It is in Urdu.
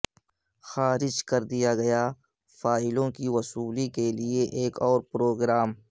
خارج کر دیا فائلوں کی وصولی کے لئے ایک اور پروگرام